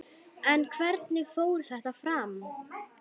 En hvernig fór þetta fram?